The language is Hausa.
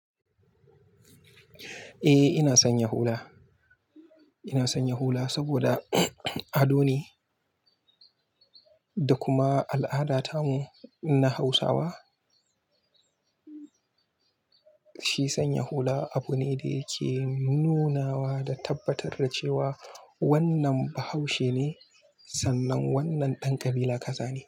Eh ina sanya hula. Ina sanya hula saboda ado ne da kuma al'ada tamu irinna Hausawa. Shi sanya hula abu ne da yake nunawa da tabbatar da cewa wannan bahaushe ne sannan wannan ɗan kabila kaza ne.